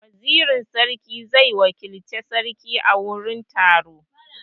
Wazirin sarki zai wakilci sarki a wani taro.